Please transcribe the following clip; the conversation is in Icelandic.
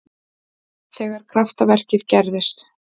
Þegar kraftaverkið gerðist.